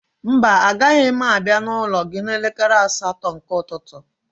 Mba, agaghị m abịa n'ụlọ gị n'elekere asatọ nke ụtụtụ